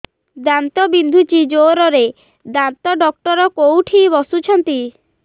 ଦାନ୍ତ ବିନ୍ଧୁଛି ଜୋରରେ ଦାନ୍ତ ଡକ୍ଟର କୋଉଠି ବସୁଛନ୍ତି